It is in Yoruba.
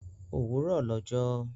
Òwúrọ̀ lọ jọ́